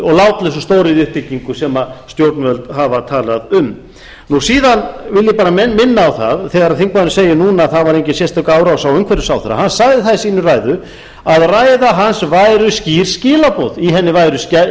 og látlausu stóriðjuuppbyggingu sem stjórnvöld hafa talað um síðan vil ég bara minna á það að þegar þingmaðurinn segir núna að það var engin sérstök árás á umhverfisráðherra hann sagði það í sinni ræðu að ræða hans væri skýr skilaboð í henni væru skýr skilaboð